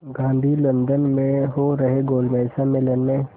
Gandhi London में हो रहे गोलमेज़ सम्मेलन में